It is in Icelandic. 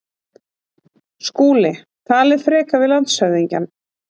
SKÚLI: Talið frekar við landshöfðingjann.